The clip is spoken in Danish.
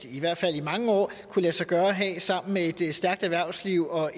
i hvert fald i mange år kunne lade sig gøre at have sammen med et stærkt erhvervsliv og